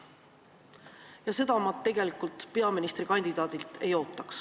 Ja seda ma tegelikult peaministrikandidaadilt ei oota.